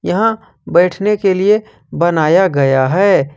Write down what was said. यहां बैठने के लिए बनाया गया है।